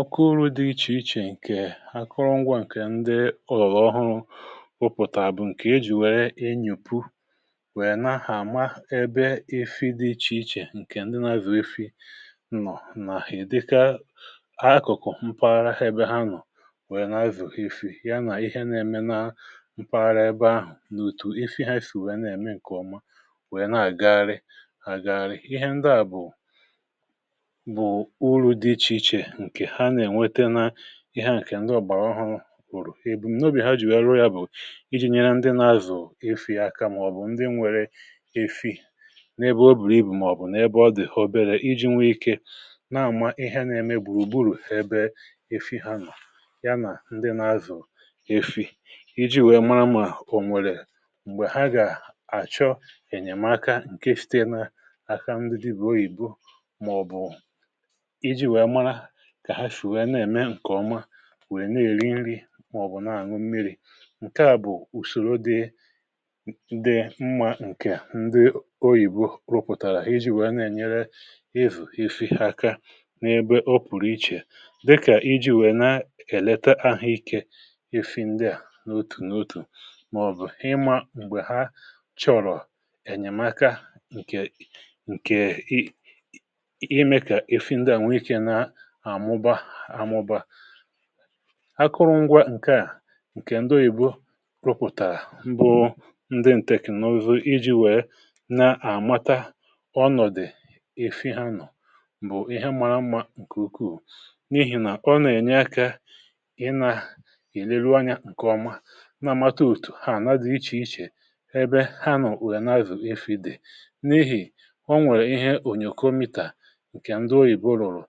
Ọkụụrụ dị iche-iche nke akụrụngwọ, nke ndị ọ̀lụ̀ ọhụrụ̀ ụpụ̀tà bụ̀ nke ejì wère inyùpù, wèe nà-ahà àma ebe efi dị iche-iche, nke ndị nà-azụ̀ efì nnọ̀ nà-èdika akụ̀kụ̀ mpaghara ebe ha nọ̀, wèe um nà-azụ̀ efi ya, nà ihe nà-ème na mpaghara ebe ahụ̀, n’ùtù efi ha sì wèe nà-ème nke ọma, wèe nà-àgagharị àgagharị. Ihe ndị à bụ̀ ihe à, nke ndị ọ̀gbàrà ọhụrụ̀ bùrù ebu̇ nà obi ha jiri rụọ, yà bụ̀ iji̇ nyere ndị nà-azụ̀ efi̇ aka, màọ̀bụ̀ ndị nwèrè efi n’ebe ọ bùrù ibu̇, màọ̀bụ̀ n’ebe ọ dị̀họ̀ obere, iji̇ nwee ike n’àma ihe niile mèg­bùrù um ùgburù ebe efi̇ ha nọ̀, yànà ndị nà-azụ̀ efi̇ iji̇ nwèe mara ma ò nwèrè m̀gbè ha gà-àchọ̀ enyèmaka... um Nke à sitere n’aka ndị dibu òyìbo, màọ̀bụ̀ nwèe nà-èri nri, màọ̀bụ̀ nà-àṅụ̀ mmiri̇. Nke à bụ̀ ùsòrò dị mmá, nke ndị òyìbo rụpụ̀tàrà iji̇ wèe nà-ènyere efi aka n’ebe ọ pụ̀rụ̀ iche, dịkà iji̇ wèe nà-èlètè ahụ̀ ike efi ndị à n’òtù n’òtù, um màọ̀bụ̀ ịmà ǹgbè ha chọ̀rọ̀ enyèmaka. um Nke a, nke iji̇ mee kà efi ndị à nwee ike n’àṅụ akụrụngwà, bụ̀ nke ndị òyìbo rụpụ̀tàrà̀ mbụ̀, ndị technologists, iji̇ wèe nà-àmata ọnọ̀dụ̀ efi ha nọ̀...pause) Nke à bụ̀ ihe mȧrà mmȧ nke ukwuù, n’ihì nà ọnọ̀dụ̀ à n’ènye àkà, ị nà-èlelụ̀ anya nke ọma, nà-àmata òtù ha na-adị iche-iche, ebe ha nọ̀ wèe n’azụ̀ efi̇ dị n’ihì um Ọ nwèrè ihe ònyòkòometà, nke ndị òyìbo rụ̀rụ̀,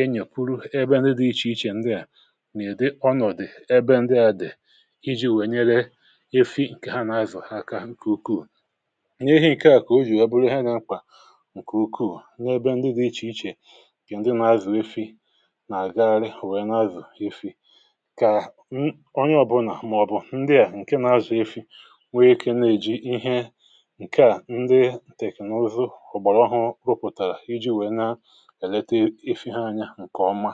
enyekwuru ebe ndị dị iche-iche, ndị à nà-èdì ọnọ̀dụ̀ ebe ndị à dị̀, iji̇ wèe nyere efi nke ha nà-azụ̀ aka. um Nke ukwuù, nye ihe nke à kà o jì eboro ha, nà mkwà nke ukwuù... Ndị ebe ndị dị iche-iche, kà ndị nà-azụ̀ efi nà-àgagharị, wèe nà-azụ̀ efi. Kà m, onye ọbụnà, màọ̀bụ̀ ndị à nke nà-azụ̀ efi, nwee ike nà-èjì ihe nke à, ndị technologists ụ̀gbọ̀rọ̀ ahụ̀ rụpụ̀tàrà, iji̇ wèe nà nke ọma.